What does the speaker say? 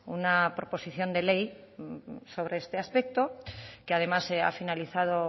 una proposición de ley sobre este aspecto que además se ha finalizado